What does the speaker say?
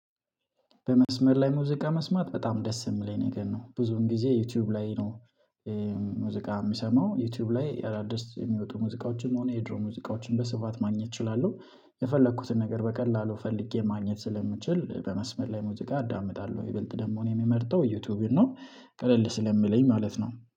በመስመር ላይ ሙዚቃ መስማት በጣም ደስ የሚለኝ ነገር ነው ብዙን ጊዜ ዩቲዩብ ላይ ነው። ሙዚቃ የምሰማው ዩቲዩብ ላይ አዳዲስ የሚወጡ ሙዚቃዎችም ሆነ የድሮ ሙዚቃዎችን በስፋት ማግኘት እችላለሁ የፈለኩትን ነገር በቀላሉ ፈልጌ ማግኘት ስለምችል በመስመር ላይ ሙዚቃ አዳምጣለሁ ይበልጥ ደግሞ እኔ የምመርጠው ዩቲዩብን ነው። ቀለል ስለሚለኝ ማለት ነው